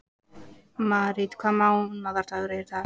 Marít, hvaða mánaðardagur er í dag?